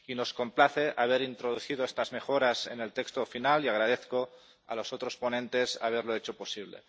Nos complace haber introducido estas mejoras en el texto final y agradezco a los otros ponentes haberlo hecho posible.